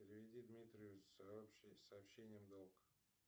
переведи дмитрию с сообщением долг